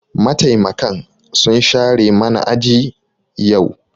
Mataimakan sun share mana aji yau.